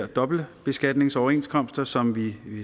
dobbeltbeskatningsoverenskomster som vi